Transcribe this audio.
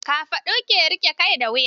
Kafaɗu ke riƙe da kai da wuya.